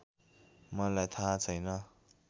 मलाई थाहा छैन